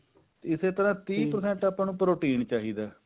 ise ਤਰ੍ਹਾਂ ਤੀਹ percent ਆਪਾਂ ਨੂੰ protein ਚਾਹੀਦਾ